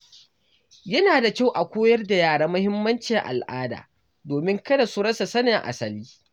Yana da kyau a koyar da yara mahimmancin al’ada domin kada su rasa sanin asali.